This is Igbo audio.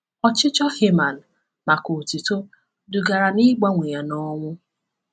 Ọchịchọ Haman maka otuto dugara n’ịgbanwe ya na ọnwụ.